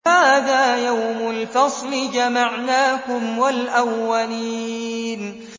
هَٰذَا يَوْمُ الْفَصْلِ ۖ جَمَعْنَاكُمْ وَالْأَوَّلِينَ